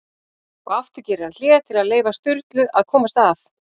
Og aftur gerir hann hlé til að leyfa Sturlu að komast að.